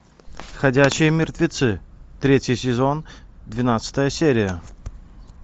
ходячие мертвецы третий сезон двенадцатая серия